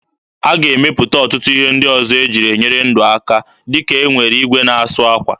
A ga-emepụta ọtụtụ ihe ndị ọzọ eji enyere ndụ aka dịka e nwere igwe na-asụ akwa.